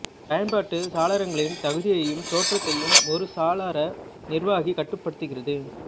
பயன்பாட்டுச் சாளாரங்களின் தகுதியையும் தோற்றத்தையும் ஒரு சாளர நிர்வாகி கட்டுப்படுத்துகிறது